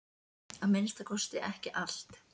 Að minnsta kosti ekki allt.